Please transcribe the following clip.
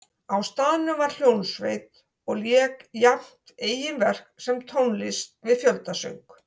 Á staðnum var hljómsveit og lék jafnt eigin verk sem tónlist við fjöldasöng.